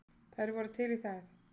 Þær voru til í það.